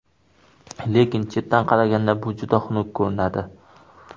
Lekin chetdan qaraganda bu juda xunuk ko‘rinadi.